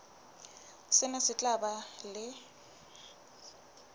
sena se tla ba le